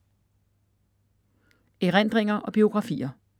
Erindringer og biografier